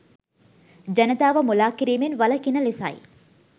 ජනතාව මුළා කිරිමෙන් වළකින ලෙසයි